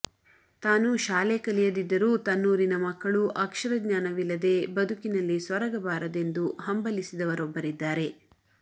ತಾನು ಶಾಲೆ ಕಲಿಯದಿದ್ದರೂ ತನ್ನೂರಿನ ಮಕ್ಕಳು ಅಕ್ಷರ ಜ್ಞಾನವಿಲ್ಲದೆ ಬದುಕಿನಲ್ಲಿ ಸೊರಗಬಾರದೆಂದು ಹಂಬಲಿಸಿದವರೊಬ್ಬರಿದ್ದಾರೆ